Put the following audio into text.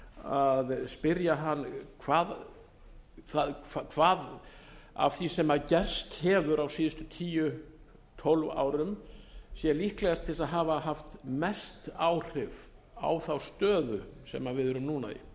að spyrja hann hvað af því sem gerst hefur á síðustu tíu til tólf árum sé líklegast til að hafa haft mest áhrif á þá stöðu sem við erum núna í